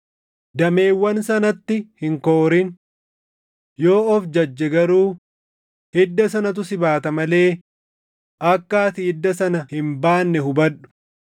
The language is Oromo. dameewwan sanatti hin koorin. Yoo of jajje garuu hidda sanatu si baata malee akka ati hidda sana hin baanne hubadhu.